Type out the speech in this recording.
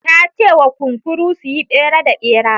Ta ce wa kunkuru su yi tsere da bera.